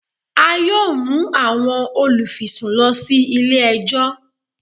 A yoo mu awọn olufisun lọ si ile-ẹjọ